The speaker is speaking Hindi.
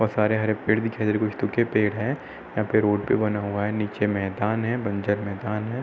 बोहोत सारे हरे पेड़ दिखाई दे रहे कुछ पेड़ हैं। यहाँ पे रोड पे बना हुआ है नीचे मैदान है बंजर मैदान है।